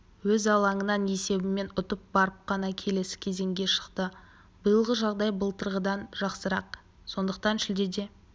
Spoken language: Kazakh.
өз алаңында есебімен ұтып барып қана келесі кезеңге шықты биылғы жағдай былтырғыдан жақсырақ сондықтан шілдеде